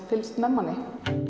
fylgst með manni